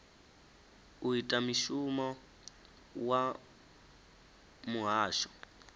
u ita mushumo wa muhasho